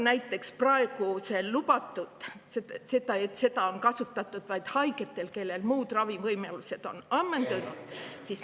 Näiteks on praegu lubatud seda kasutada vaid nendel haigetel, kellel on muud ravivõimalused ammendunud.